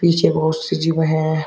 पीछे बहोत सी जिम है।